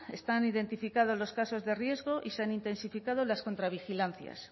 están identificados los casos de riesgo y se han intensificado las contravigilancias